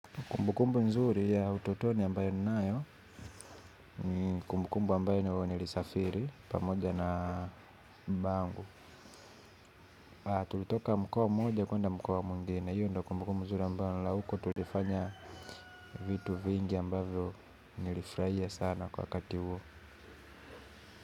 Kumbukumbu nzuri ya utotoni ambayo ninayo ni kumbukumbu ambayo nilisafiri pamoja na baba angu. Tulitoka mkoa mmoja kuenda mkoa mwingine. Hiyo ndio kumbukumbu mzuri ambayo la uko tulifanya vitu vingi ambavyo nilifurahia sana kwa wakati huo.